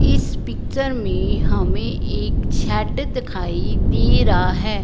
इस पिक्चर में हमें एक छड दिखाई दे रहा है।